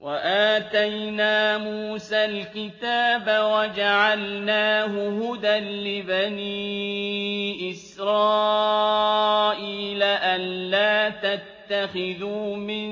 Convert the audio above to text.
وَآتَيْنَا مُوسَى الْكِتَابَ وَجَعَلْنَاهُ هُدًى لِّبَنِي إِسْرَائِيلَ أَلَّا تَتَّخِذُوا مِن